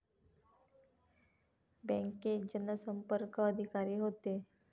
बँकेत जनसंपर्क अधिकारी होते